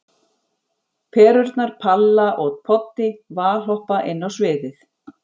Perurnar Palla og Poddi valhoppa inn á sviðið.